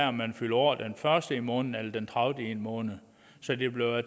om man fylder år den første i en måned eller den tredivete i en måned så det bliver